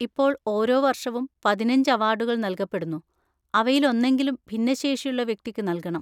ഇപ്പോൾ, ഓരോ വർഷവും പതിനഞ്ച് അവാർഡുകൾ നൽകപ്പെടുന്നു, അവയിലൊന്നെങ്കിലും ഭിന്നശേഷിയുള്ള വ്യക്തിക്ക് നൽകണം.